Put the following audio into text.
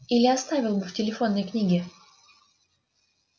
или оставил бы в телефонной книге